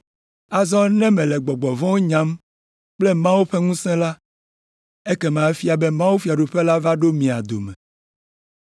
Azɔ ne mele gbɔgbɔ vɔ̃wo nyam kple Mawu ƒe ŋusẽ la, ekema efia be mawufiaɖuƒe la va ɖo mia dome.